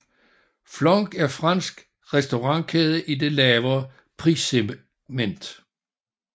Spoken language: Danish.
Flunch er fransk restaurantkæde i det lavere prissegment